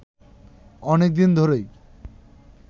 অনেকদিন ধরেই